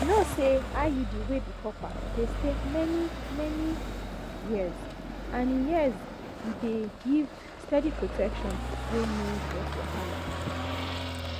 you know say iud wey be copper dey stay many-many years and e years and e dey give steady protection wey no get wahala.